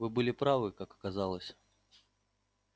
вы были правы как оказалось